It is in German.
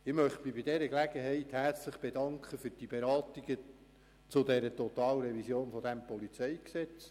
Bei dieser Gelegenheit möchte ich mich für die Beratung der Totalrevision des PolG bedanken.